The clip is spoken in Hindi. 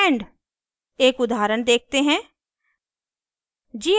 end एक उदाहरण देखते हैं